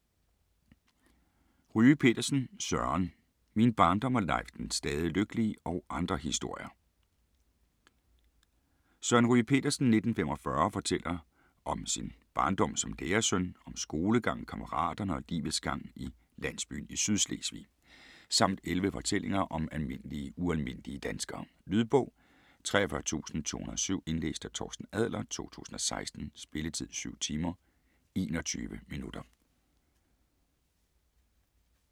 Ryge Petersen, Søren: Min barndom og Leif den stadig lykkelige og andre historier Søren Ryge Petersen (f. 1945) fortæller om sin barndom som lærersøn, om skolegang, kammeraterne og livets gang i landsbyen i Sydslesvig. Samt 11 fortællinger om almindelige ualmindelige danskere. Lydbog 43207 Indlæst af Torsten Adler, 2016. Spilletid: 7 timer, 21 minutter.